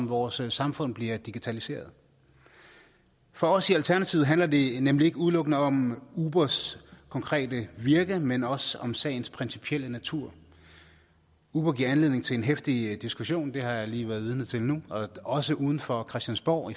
vores samfund bliver digitaliseret for os i alternativet handler det nemlig ikke udelukkende om ubers konkrete virke men også om sagens principielle natur uber giver anledning til en heftig diskussion det har jeg lige været vidne til nu også uden for christiansborg